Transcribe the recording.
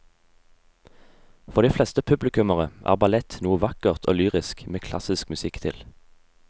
For de fleste publikummere er ballett noe vakkert og lyrisk med klassisk musikk til.